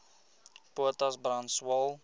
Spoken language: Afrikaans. potas brand swael